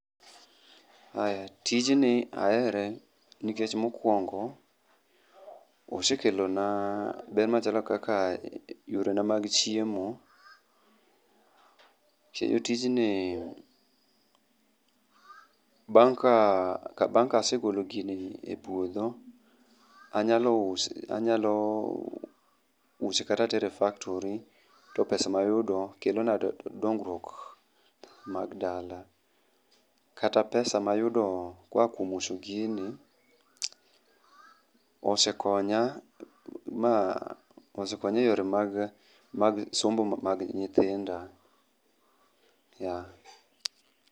Aya, tijni ahere nikech mokuongo osekelo na ber machalo kaka yorena mag chiemo kendo tijni bang ka assegolo gini e puodho anyalo use, anyalo use kata atere e factory to pesa ma ayudo kelona dongruok mag dala, kata pesa mayudo koa kuom uso gini osekonya ma , osekonya e yore mag somo mag nyitinda, yeah